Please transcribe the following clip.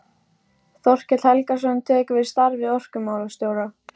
Þorkell Helgason tekur við starfi orkumálastjóra.